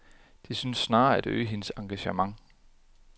De synes snarere at øge hendes engagement.